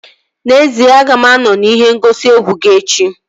N'ezie, aga m anọ n'ihe ngosi egwu gị echi